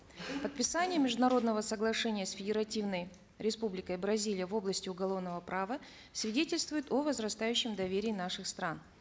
подписание международного соглашения с федеративной республикой бразилия в области уголовного права свидетельствует о возрастающем доверии наших стран